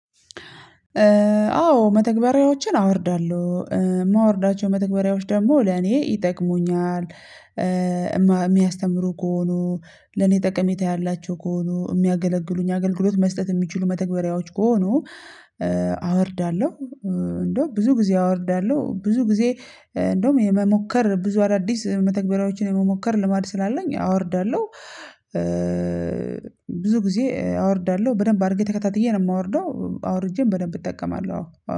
አዎ መተግበሪያዎችን አወርዳለሁ። የማወርዳቸው መተግበሪያዎች ደግሞ ለኔ ይጠቅሙኛል የሚያስተምሩ ከሆኑ፣ ለኔ ጠቀሜታ ያላቸው ከሆኑ፣ የሚያገለግሉኝ አገልግሎት መስጠት የሚችሉ፣ መተግበሪያዎች ከሆኑ አወርዳለሁ። እንደው ብዙ ጊዜ አወርዳለሁ ብዙ ጊዜ እንደውም የመሞከር ብዙ አዳዲስ መተግበሪያዎችን የመሞከር ልማድ ስላለኝ አወርዳለሁ። ብዙ ጊዜ አወርዳለሁ በደንብ አድርጌ ተከታትዬ ነው የማወርደው አውርጄም በደንብ እጠቀማለሁ አዎ።